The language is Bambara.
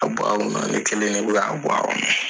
A bɔ kɔnɔ ne kelen de k'a bɔ a kɔnɔ.